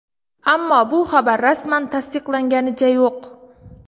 Ammo bu xabar rasman tasdiqlanganicha yo‘q.